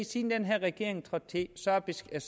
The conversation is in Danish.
siden den her regering trådte til faktisk er